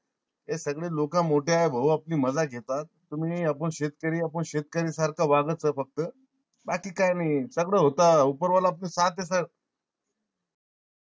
हे सगळे लोक मोठे ए भाऊ आपली मज्जा घेतात. तुम्ही अपुन शेतकरी अपुन शेतकरी सारखा वागाय च फक्त बाकी काय नई सगळ होत.